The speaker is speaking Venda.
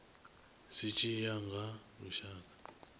zwi tshi ya nga lushaka